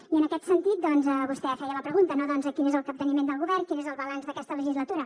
i en aquest sentit doncs vostè feia la pregunta no doncs quin és el capteniment del govern quin és el balanç d’aquesta legislatura